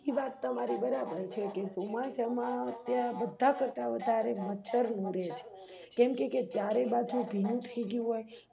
ઈવાત તમારી બરાબર છે કે ચોમાસા માં બધા કરતા વધારે મચ્છરોઉડે છે કેમકેકે ચારે બાજુ ભીનું થઈ ગયું હોય